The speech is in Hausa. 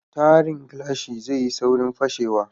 Tiren gilashi zai yi saurin fashewa